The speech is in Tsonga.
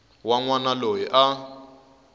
wa n wana loyi a